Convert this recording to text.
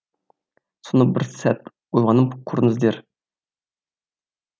соны бір сәт ойланып көріңіздер